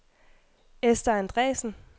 Ester Andresen